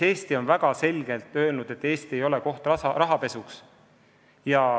Eesti on väga selgelt öelnud, et Eesti ei ole koht rahapesuks.